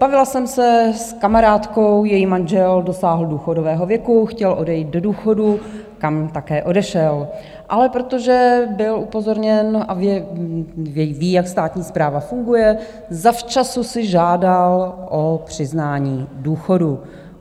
Bavila jsem se s kamarádkou, její manžel dosáhl důchodového věku, chtěl odejít do důchodu, kam také odešel, ale protože byl upozorněn a ví, jak státní správa funguje, zavčasu si žádal o přiznání důchodu.